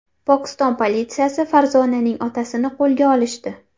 Pokiston politsiyasi Farzonaning otasini qo‘lga olishdi.